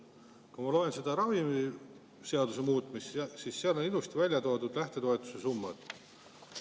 Kui ma loen ravimiseaduse muudatust, siis näen, et seal on ilusti välja toodud lähtetoetuse summad.